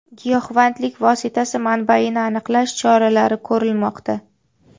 Giyohvandlik vositasi manbaini aniqlash choralari ko‘rilmoqda.